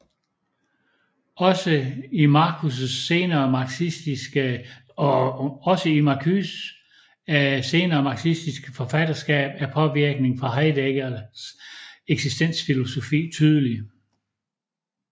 Også i Marcuses senere marxistiske forfatterskab er påvirkningen fra Heideggers eksistensfilosofi tydelig